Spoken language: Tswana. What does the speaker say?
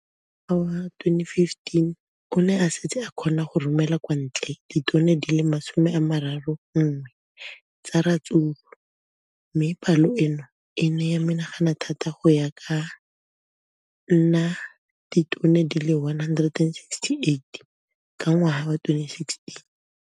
Ka ngwaga wa 2015, o ne a setse a kgona go romela kwa ntle ditone di le 31 tsa ratsuru mme palo eno e ne ya menagana thata go ka nna ditone di le 168 ka ngwaga wa 2016.